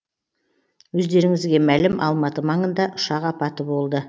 өздеріңізге мәлім алматы маңында ұшақ апаты болды